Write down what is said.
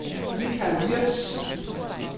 Mikael Würtz